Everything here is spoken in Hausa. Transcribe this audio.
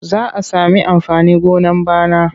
Za a sami amfanin gona bana.